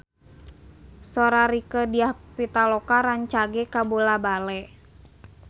Sora Rieke Diah Pitaloka rancage kabula-bale